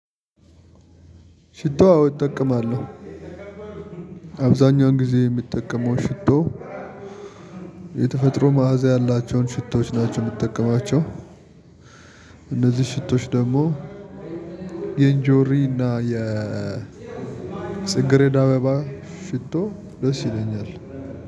ሽቶ አዎ እጠቀማለሁ። አብዛኛውን ጊዜ የምጠቀመው ሽቶ የተፈጥሮ መዓዛ ያላቸውን ሽቶዎች ናቸው የምጠቀማቸው። እነዚህ ሽቶዎች ደግሞ የኢንጆሪ እና የጽግሬድ አበባ ሽቶ ደስ ይለኛል።